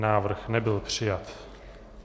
Návrh nebyl přijat.